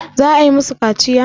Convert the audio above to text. za a yi musu kaciya?